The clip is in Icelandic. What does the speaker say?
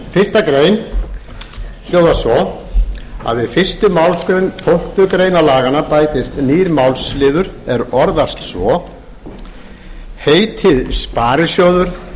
frumvarpsins fyrstu grein hljóðar svo við fyrstu málsgrein tólftu greinar laganna bætist nýr málsliður er orðast svo heitið sparisjóður er